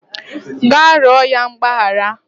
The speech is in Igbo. Gaa rịọ ya mgbaghara